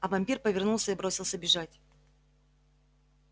а вампир повернулся и бросился бежать